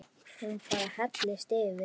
Hún bara hellist yfir.